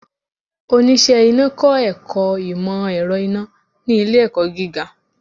Oníṣe Iná kọ ẹkọ imọ-ẹrọ iná ni ile-ẹkọ giga.